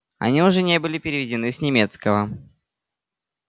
они уже не были переведены с немецкого